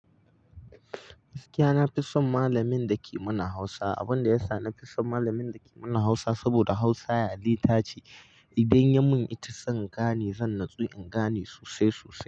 Gaskiya na fi son malamin da ke mana hausa. Abun da yasa na fi son malamin da ke mana hausa, saboda hausa ya littafi idan ya mun ita zan gane, zan natsu in gane sosai sosai.